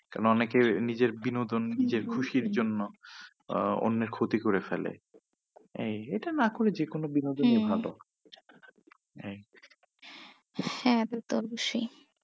কেননা অনেকে, নিজের বিনোদন নিজের খুশির জন্য আহ অন্যের ক্ষতি করে ফেলে এটা না করে যে কোনো বিনোদনই ভালো হম হ্যাঁ সে তো অবশ্যই।